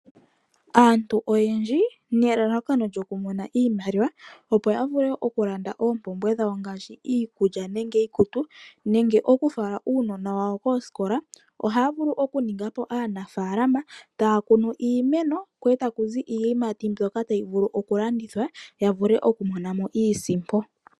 Aantu oyendji nelalakano lyokumona iimaliwa opo yavule okulanda opumbwe dhawo ngashi iikulya nenge iikutu nenge okufala uunona wawo koskola oha vulu okuningapo aanafalama takunu iimeno ko otakuzi iiyimat mbyoka tayi vulu okulandithwa yavule oku monamo iisimpo.